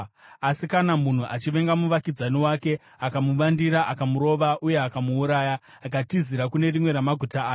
Asi kana munhu achivenga muvakidzani wake akamuvandira, akamurova uye akamuuraya, akatizira kune rimwe ramaguta aya,